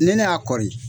Ne ne y'a kɔri